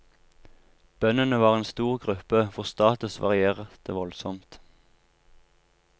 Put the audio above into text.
Bøndene var en stor gruppe hvor status varierte voldsomt.